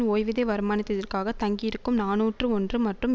ஓய்வூதிய வருமானதிதிற்காகத் தங்கி இருக்கும் நாநூற்று ஒன்று மற்றும்